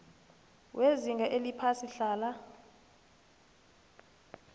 wezinga eliphasi hlala